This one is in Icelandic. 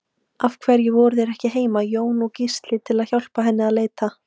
Af hverju voru þeir ekki heima, Jón og Gísli, til að hjálpa henni að leita?